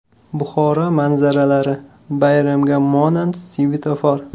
Buxoro manzaralari: Bayramga monand svetofor.